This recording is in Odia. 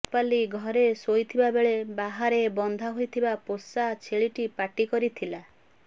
ରୂପାଲି ଘରେ ସୋଇଥିବା ବେଳେ ବାହାରେ ବନ୍ଧା ହୋଇଥିବା ପୋଷା ଛେଳିଟି ପାଟି କରିଥିଲା